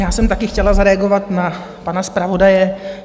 Já jsem také chtěla zareagovat na pana zpravodaje.